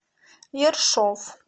ершов